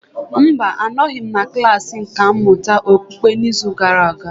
Mba, anọghị m na klasị nkà mmụta okpukpe n'izu gara aga.